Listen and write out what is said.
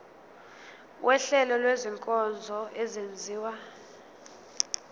wuhlengo lwezinkonzo ezenziwa